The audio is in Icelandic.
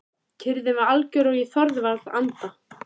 Kyrrðin var algjör og ég þorði varla að anda.